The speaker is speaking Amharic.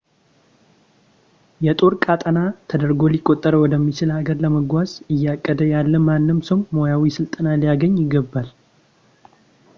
የጦር ቀጠና ተደርጎ ሊቆጠር ወደሚችል ሃገር ለመጓዝ እያቀደ ያለ ማንም ሰው ሙያዊ ስልጠና ሊያገኝ ይገባል